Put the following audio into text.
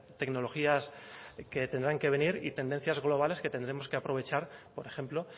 tecnologías que tendrán que venir y tendencias globales que tendremos que aprovechar por ejemplo